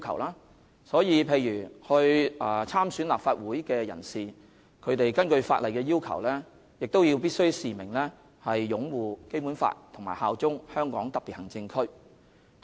例如參選立法會的人士，必須根據法例要求，示明擁護《基本法》和效忠香港特別行政區。